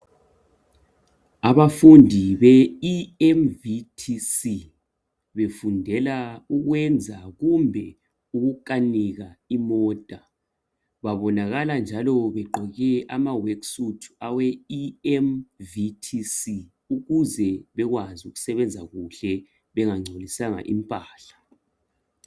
Abafundi be EMVTC befundela ukwenza kumbe ukukanisa imota babonakala njalo begqoke ama work suit awe eMVTC ukuze bekwazi ukusebenza kuhle bengancolisanga impahla.